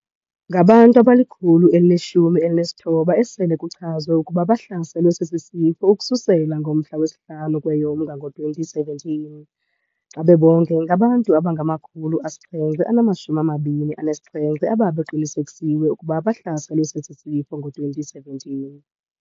Ngabantu abali-119 asele kuchazwe ukuba bahlaselwe sesi sifo ukususela ngomhla wesi-5 kweyoMnga ngowama-2017. Xa bebonke, ngabantu abangama-727 abebeqinisekisiwe ukuba bebehlaselwe sesi sifo ngowama-2017.